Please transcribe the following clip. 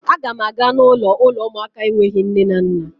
Agam aga n'ulo uụlọ ụmụaka enweghị nne na nna